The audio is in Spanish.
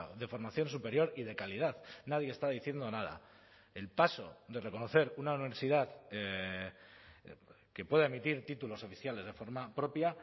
de formación superior y de calidad nadie está diciendo nada el paso de reconocer una universidad que pueda emitir títulos oficiales de forma propia